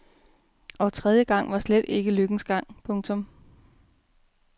Og tredje gang var slet ikke lykkens gang. punktum